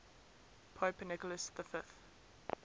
pope nicholas v